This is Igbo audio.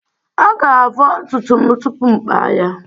Aga-avọ ntutu m tupu m akpa ya.